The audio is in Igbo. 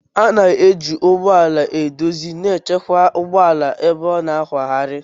A na-eji ụgbọ ala eduzi na ịchịkwa ụgbọ ala ebe a ga-akwagharị